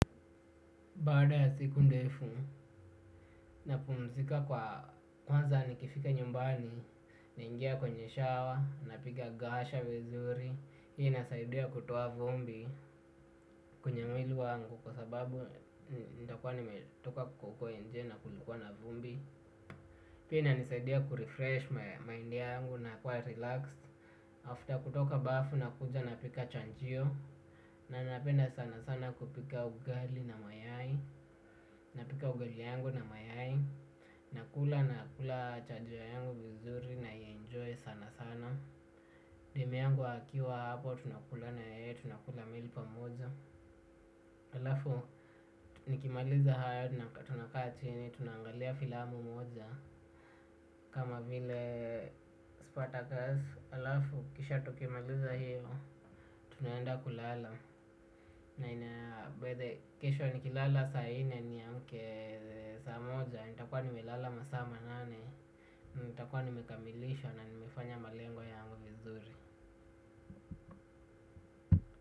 Baada ya siku ndefu, napumzika kwa kwanza nikifika nyumbani, naingia kwenye shawa, napiga gasha vizuri. Hii inasaidia kutuoa vumbi, kwenye mwili wangu kwa sababu nitakuwa nimetoka kwa huko nje na kulikuwa na vumbi. Pia inanisaidia kurefresh mind yangu na kuwa relaxed. After kutoka bafu nakuja napika chanjio. Na napenda sana sana kupika ugali na mayai. Napika ugali yangu na mayai. Nakula na kula chajiwa yangu vizuri na enjoy sana sana. Demu yangu akiwa hapo tunakula na yeye tunakula meal pamoja. Halafu nikimaliza hayo tuna kaa chini tunaangalia filamu moja. Kama vile spotakers halafu kisha tukimaliza hiyo tunaenda kulala. Na inabidi kesho nikilala saa nne niamke saa moja. Nitakuwa nimelala masaa manane. Nitakuwa nimekamilisha na nimefanya malengo yangu vizuri.